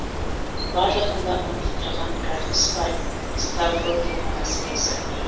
барлығын да ынтықтырған бір ақ іс бар ставрогиннің мәселесі